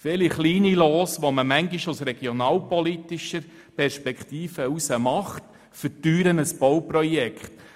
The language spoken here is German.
Viele kleine Lose, die manchmal aus regionalpolitischer Perspektive gemacht werden, verteuern ein Bauprojekt.